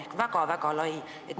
See on väga-väga lai valdkond.